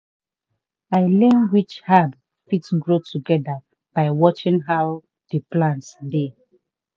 i learn which herb fit grow together by watching how the plants dey.